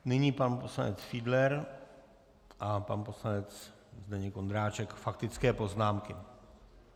Nyní pan poslanec Fiedler a pan poslanec Zdeněk Ondráček, faktické poznámky.